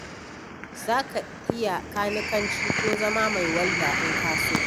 Za ka iya kanikanci ko zama mai walda in ka so.